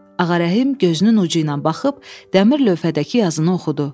Ağa Rəhim gözünün ucu ilə baxıb dəmir lövhədəki yazını oxudu.